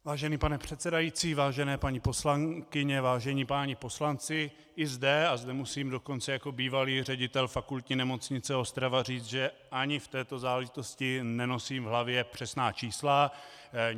Vážený pane předsedající, vážené paní poslankyně, vážení páni poslanci, i zde - a zde musím dokonce jako bývalý ředitel Fakultní nemocnice Ostrava říci, že ani v této záležitosti nenosím v hlavě přesná čísla.